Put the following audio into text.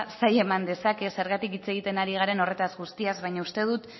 zaila eman dezake zergatik hitz egiten ari garen horretaz guztiaz baina uste dut